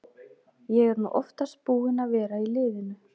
Ég er nú oftast búinn að vera í liðinu.